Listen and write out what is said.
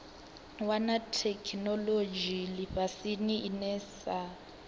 wana theikinolodzhi lifhasini ine sa